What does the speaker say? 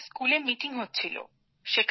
স্কুলে মিটিং হচ্ছিল